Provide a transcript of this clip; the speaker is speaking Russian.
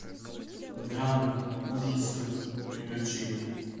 драмы ужасы приключения